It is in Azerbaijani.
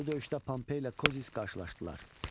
Bu döyüşdə Pompey ilə Kozis qarşılaşdılar.